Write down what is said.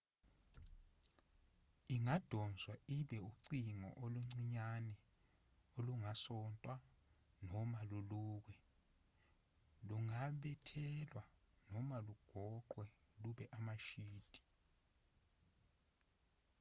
ingadonswa ibe ucingo oluncinyanyane olungasontwa noma lulukwe lungabethelwa noma lugoqwe lube amashidi